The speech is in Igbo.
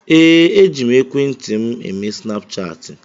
Ee, eji m ekwentị m eme snapchaatị.